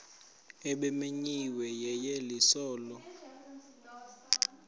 ebimenyiwe yeyeliso lo